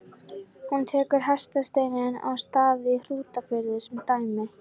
Hún tekur hestasteininn á Stað í Hrútafirði sem dæmi.